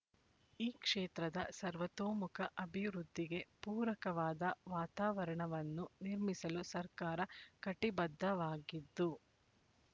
ಈ ಕ್ಷೇತ್ರದ ಸರ್ವತೋಮುಖ ಅಭಿವೃದ್ಧಿಗೆ ಪೂರಕವಾದ ವಾತಾವರಣವನ್ನು ನಿರ್ಮಿಸಲು ಸರ್ಕಾರ ಕಟಿಬದ್ಧವಾಗಿದ್ದು